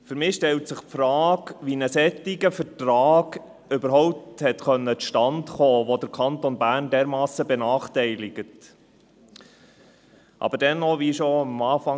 Für mich stellt sich die Frage, wie ein solcher Vertrag, der den Kanton Bern dermassen benachteiligt, überhaupt zustande kommen konnte.